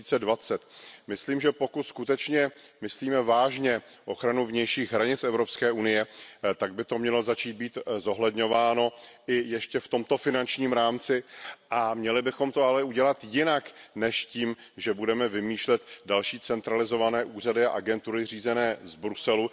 2020. Myslím, že pokud skutečně myslíme vážně ochranu vnějších hranic EU, tak by to mělo začít být zohledňováno i ještě v tomto finančním rámci, a měli bychom to ale udělat jinak než tím, že budeme vymýšlet další centralizované úřady a agentury řízené z Bruselu.